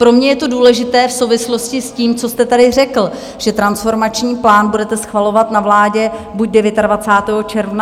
Pro mě je to důležité v souvislosti s tím, co jste tady řekl, že transformační plán budete schvalovat na vládě buď 29. června, nebo 12. července.